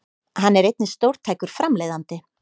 Hann er einnig stórtækur framleiðandi